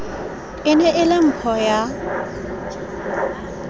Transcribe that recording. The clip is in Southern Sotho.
ne e le mpho ya